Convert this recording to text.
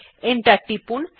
enter টিপুন